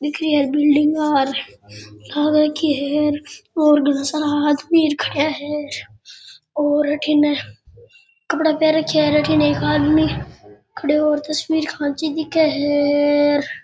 दिखरी है बिल्डिंग आर लग राखी है और घणा सारा आदमी खड़े है और अठिन कपडे पहन रखे है अठिन एक आदमी ने खड़े है और तस्वीर खैंचि दिखे है र।